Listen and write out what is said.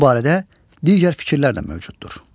Bu barədə digər fikirlər də mövcuddur.